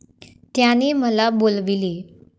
त्याने मला बोलविले.